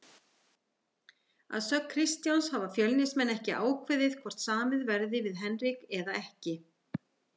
Að sögn Kristjáns hafa Fjölnismenn ekki ákveðið hvort samið verði við Henrik eða ekki.